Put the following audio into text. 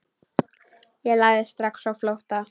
Ég lagði strax á flótta.